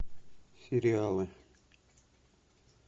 сериалы